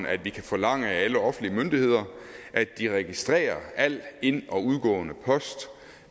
at vi kan forlange af alle offentlige myndigheder at de registrerer alt ind og udgående post